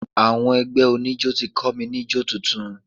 Àwọn ẹgbẹ́ oníjọ́ ti kọ́ mi ní jó tuntun.